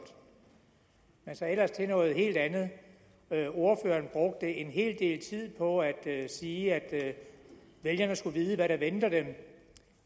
men så ellers til noget helt andet ordføreren brugte en hel del tid på at sige at vælgerne skulle vide hvad der venter dem